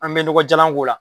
An bɛ nɔgɔjalan k'o la.